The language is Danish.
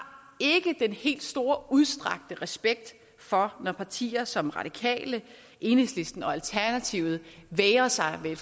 den helt store udstrakte respekt for at partier som radikale enhedslisten og alternativet vægrer sig ved